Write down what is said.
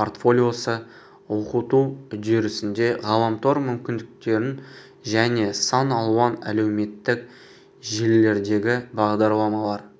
портфолиосы оқыту үдерісінде ғаламтор мүмкіндіктеріненжәне сан алуан әлеуметтік желілердегібағдарламалар